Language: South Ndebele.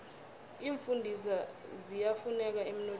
iimfundiswa ziyafuneka emnothweni